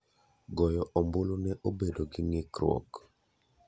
Goyo ombulu ne obedo gi ng'ikruok.